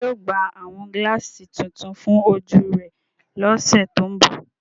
Ṣe yóò gba awọn gilaasi tuntun fun oju rẹ lọsẹ to nbọ?